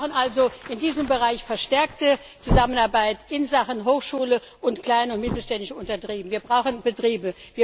Wir brauchen also in diesem Bereich verstärkte Zusammenarbeit in Sachen Hochschule und kleine und mittelständische Betriebe.